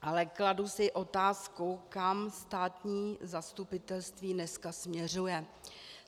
Ale kladu si otázku, kam státní zastupitelství dneska směřuje.